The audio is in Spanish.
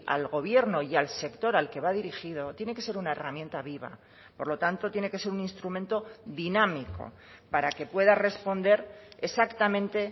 al gobierno y al sector al que va dirigido tiene que ser una herramienta viva por lo tanto tiene que ser un instrumento dinámico para que pueda responder exactamente